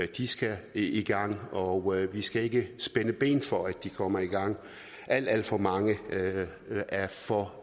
de skal i gang og vi skal ikke spænde ben for at de kommer i gang alt alt for mange er for